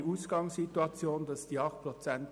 Die Ausgangssituation ist jetzt anders.